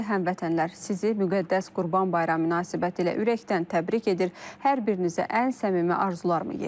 Hörmətli həmvətənlər, sizi müqəddəs Qurban bayramı münasibətilə ürəkdən təbrik edir, hər birinizə ən səmimi arzularımı yetirirəm.